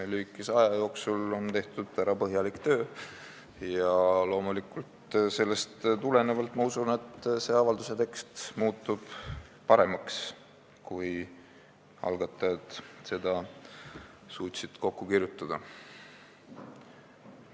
Lühikese aja jooksul on põhjalik töö ära tehtud ja loomulikult ma usun, et avalduse tekst on muutunud paremaks võrreldes sellega, mis algatajad kokku kirjutada suutsid.